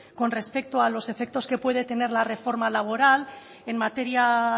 con respecto a los efectos que puede tener la reforma laboral en materia